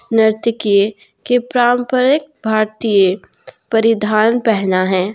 नर्तकी के पारंपरिक भारतीय परिधान पहना है।